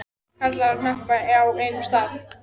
Karlar í hnapp á einum stað.